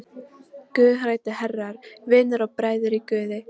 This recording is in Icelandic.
Guðhræddu herrar, vinir og bræður í guði!